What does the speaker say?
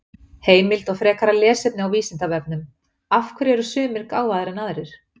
Heimild og frekara lesefni á Vísindavefnum: Af hverju eru sumir gáfaðri en aðrir?